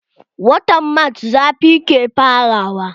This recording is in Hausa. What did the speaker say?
Watan marc zafi ke fara wa.